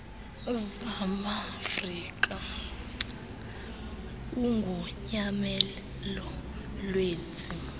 zamaafrika ugonyamelo lwezi